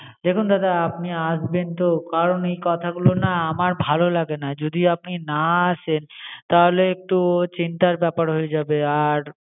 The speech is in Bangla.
দেখুন দাদা, আপনি আসবেন তো? কারণ এই কথাগুলো না আমার ভালো লাগে না। যদি আপনি না আসেন তাহলে একটু চিন্তার ব্যাপার হয়ে যাবে। আর